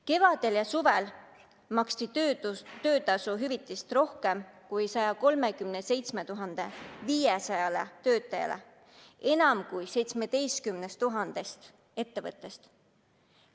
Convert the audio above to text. Kevadel ja suvel maksti töötasuhüvitist rohkem kui 137 500 töötajale enam kui 17 000 ettevõttest.